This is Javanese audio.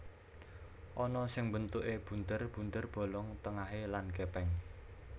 Ana sing bentuké bunder bunder bolong tengahé lan gèpèng